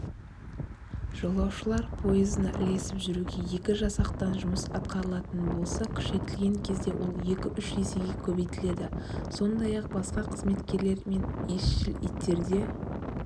жолаушылар пойызына ілесіп жүруге екі жасақтан жұмыс атқарылатын болса күшейтілген кезде ол екі-үш есеге көбейтіледі сондай-ақ басқа қызметкерлер мен исшіл иттерде